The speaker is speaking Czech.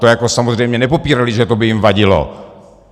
To jako samozřejmě nepopírali, že to by jim vadilo.